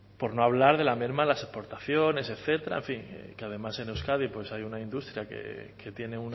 por no hablar de la merma en las exportaciones etcétera en fin que además en euskadi pues hay una industria que tiene